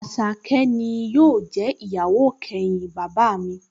Àṣàkẹ́ ni yóò jẹ́ ìyàwó kẹyìn bàbá mi